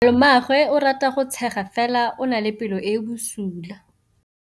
Malomagwe o rata go tshega fela o na le pelo e e bosula.